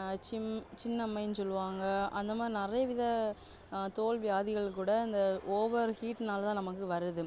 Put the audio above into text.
ஆஹ் சிம்~சின்னம்மைனு சொல்லுவாங்க அந்தமாதிரி நிறைய வித ஆஹ் தோல் வியாதிகள் கூட இந்த over heat னால தான் நமக்கு வருது